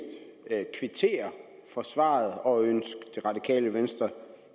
kvittere for svaret og ønske det radikale venstre